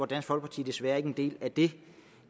dansk folkeparti desværre ikke er en del af det